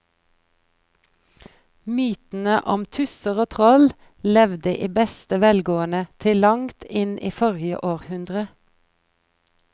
Mytene om tusser og troll levde i beste velgående til langt inn i forrige århundre.